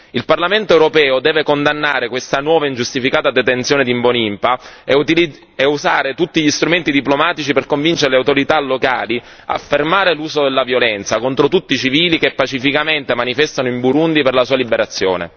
Il Parlamento europeo deve condannare questa nuova e ingiustificata detenzione di Mbonimpa e usare tutti gli strumenti diplomatici per convincere le autorità locali a fermare l'uso della violenza contro tutti i civili che pacificamente manifestano in Burundi per la sua liberazione.